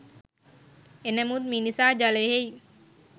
එනමුත් මිනිසා ජලයෙහි